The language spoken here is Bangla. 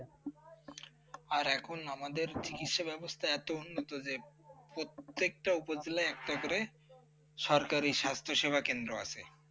আর এখন আমাদের চিকিৎসা ব্যবস্থা এত উন্নত যে প্রত্যেকটা উপজেলা একটা করে সরকারি স্বাস্থ্য সেবা কেন্দ্র আছে।